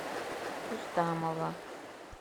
рустамова